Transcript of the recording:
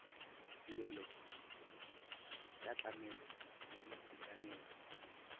tirelo ya tlamelo ya boitekanelo